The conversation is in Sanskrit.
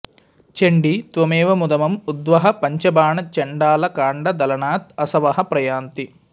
चण्डि त्वमेव मुदम् उद्वह पंचबाण चण्डाल काण्ड दलनात् असवः प्रयान्ति